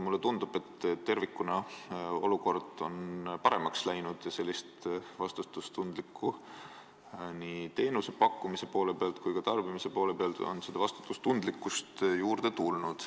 Mulle tundub, et tervikuna on olukord paremaks läinud ja vastutustundlikkust on nii teenuse pakkujatel kui ka tarbijatel juurde tulnud.